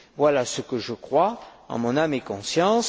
Voilà ce que je crois, en mon âme et conscience.